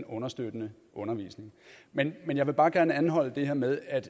understøttende undervisning men jeg vil bare gerne anholde det her med at